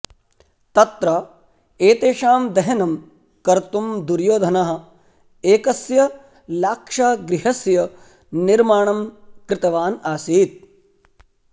तत्र एतेषां दहनं कर्तुं दुर्योधनः एकस्य लाक्षागृहस्य निर्माणं कृतवान् आसीत्